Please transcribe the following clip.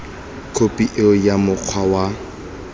khophi eo ya mokgwa wa